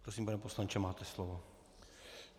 Prosím, pane poslanče, máte slovo.